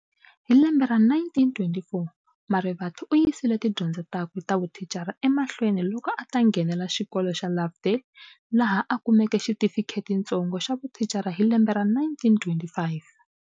Hilembe ra 1924, Marivate uyisile tidyondzo takwe tavuthicara emahlweni loko ata nghenela xikolo xa Lovedale, laha a kumeke xitifiketitsongo xa vuthicara hi lembe ra 1925.